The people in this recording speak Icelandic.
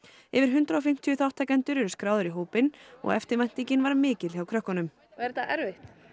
yfir hundrað og fimmtíu þátttakendur eru skráðir í hópinn og eftirvæntingin var mikil hjá krökkunum er þetta erfitt